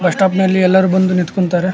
Bus stop ನಲ್ಲಿ ಎಲ್ಲರು ಬಂದು ನಿಂತ್ಕೊಂತರೆ.